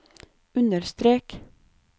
understrek